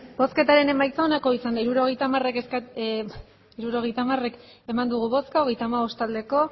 hirurogeita hamar eman dugu bozka hogeita hamabost bai